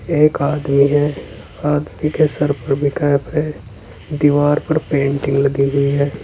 एक आदमी है आदमी के सर पर भी कैप है दीवार पर पेंटिंग लगी हुई है।